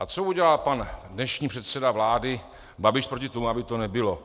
A co udělal pan dnešní předseda vlády Babiš proti tomu, aby to nebylo?